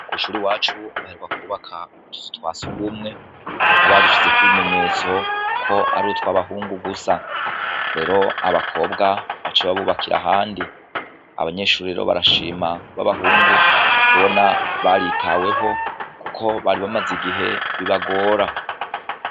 Kw' ishure iwacu baheruka kwubaka utuzu twa surwumwe, aho badushizeko ibimenyetso ko ari utw'abahungu gusa. Rero abakobwa baciye babubakira ahandi. Abanyeshure rero barashima, b'abahungu, kubona baritahweho kuko bari bamaze igihe bibagora.